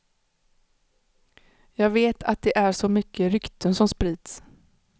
Jag vet att det är så mycket rykten som sprids.